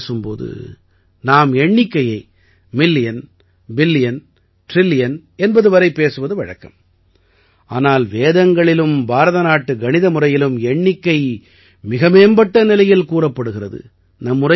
பொதுவாகப் பேசும் போது நாம் எண்ணிக்கையை மில்லியன் பில்லியன் டிரில்லியன் என்பது வரை பேசுவது வழக்கம் ஆனால் வேதங்களிலும் பாரதநாட்டு கணித முறையிலும் எண்ணிக்கை மிக மேம்பட்ட நிலையில் கூறப்படுகிறது